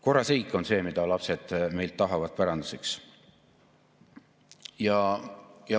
Korras riik on see, mida lapsed meilt päranduseks tahavad.